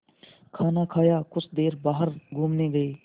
खाना खाया कुछ देर बाहर घूमने गए